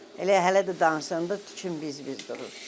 Elə hələ də danışanda tüküm biz-biz durur.